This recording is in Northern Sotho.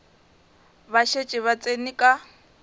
ba šetše ba tsene ka